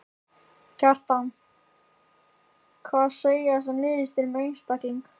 Kjartan: Hvað segja þessar niðurstöður um einstakling?